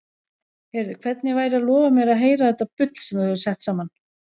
Heyrðu, hvernig væri að lofa mér að heyra þetta bull sem þú hefur sett saman?